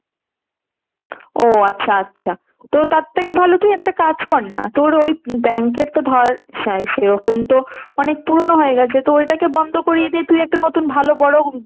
ও আচ্ছা আচ্ছা। তো তার থেকে ভালো তুই একটা কাজ কর না তোর ওই bank এর তো ধর শা~ সেরকম তো অনেক পুরনো হয়ে গেছে। তো ওটাকে বন্ধ করে দিয়ে তুই একটা নতুন ভালো বড়